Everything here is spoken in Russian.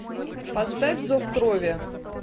поставь зов крови